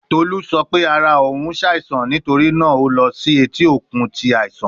Tolu sọ pe ara oun n ṣaisan nitori naa o lọ si eti okun ti aisan